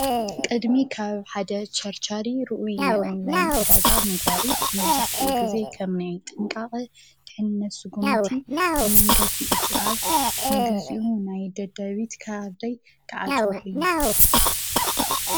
ቀድሚ ካብ ሓደ ቸርቸሪ ሩኡይ ናይ ኦን ላይን ዕዳጋ ምግባረይ መብዛሕትኡ ግዜ ከም ናይ ጥንቃቀ ድሕነት ስጉምቲ ብመንገዲ እቲ ኣብ ንግዜኡ ናይ ደደቢት ካርደይ ክዓፅዎ እየ።